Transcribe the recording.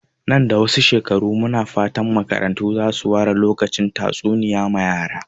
Nan da ɗan wasu shekaru, muna fatan makarantu za su ware lokacin tatsuniya ma yara.